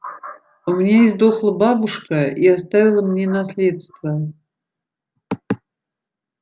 у меня издохла бабушка и оставила мне наследство